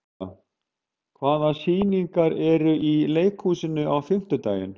Benidikta, hvaða sýningar eru í leikhúsinu á fimmtudaginn?